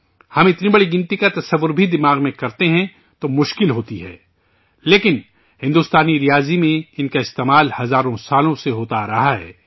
ہم اتنی بڑی تعداد کا تصور بھی دماغ میں کرتے ہیں تو مشکل ہوتی ہے، لیکن ہندوستانی ریاضی میں ان کا استعمال ہزاروں سالوں سے ہوتا آ رہا ہے